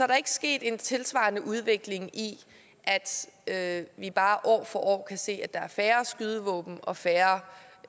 der ikke sket en tilsvarende udvikling i at vi bare år for år kan se at der er færre skydevåben og færre